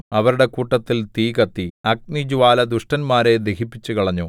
അവരുടെ കൂട്ടത്തിൽ തീ കത്തി അഗ്നിജ്വാല ദുഷ്ടന്മാരെ ദഹിപ്പിച്ചുകളഞ്ഞു